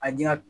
An ɲe